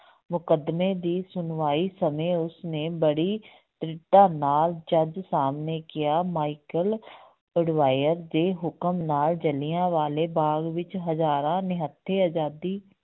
ਮੁਕੱਦਮੇ ਦੀ ਸੁਣਵਾਈ ਸਮੇਂ ਉਸਨੇ ਬੜੀ ਦ੍ਰਿੜਤਾ ਨਾਲ ਜੱਜ ਸਾਹਮਣੇ ਕਿਹਾ ਮਾਇਕਲ ਉਡਵਾਇਰ ਦੇ ਹੁਕਮ ਨਾਲ ਜਿਲ੍ਹਿਆਂ ਵਾਲੇ ਬਾਗ਼ ਵਿੱਚ ਹਜ਼ਾਰਾਂ ਨਿਹੱਥੇ ਆਜ਼ਾਦੀ